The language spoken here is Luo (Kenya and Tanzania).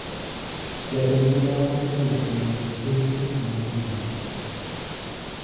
Jatend migao mar thieth omiyo jo-piny thieth ma nono